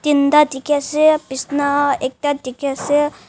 dikhi ase bisna ekta dikhi ase.